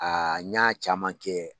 A n ɲ'a caman kɛ.